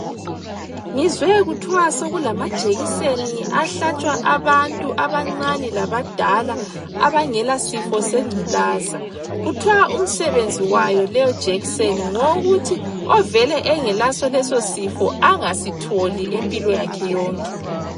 Ngizwe kuthwa sokulama jekiseni ahlatshwa abantu abancane labadala abangela sifo sengculaza .Kuthwa umsebenzi wayo leyi jikiseni ngeyokuthi ovele engela leso sifo angasitholi impilo yakhe yonke.